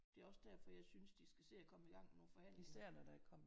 Det er også derfor jeg synes de skal se at komme igang med nogle forhandling